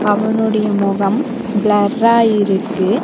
அவனொடிய முகம் பிளர்ரா இருக்கு.